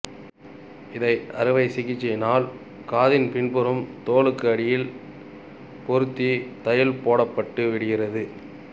இதை அறுவை சிகிச்சையினால் காதின் பின்புறம் தோலுக்கு அடியில் பொருத்தி தையல் போடப்பட்டுவிடுகிறது